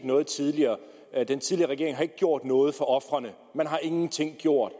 noget tidligere og at den tidligere regering ikke har gjort noget for ofrene man har ingenting gjort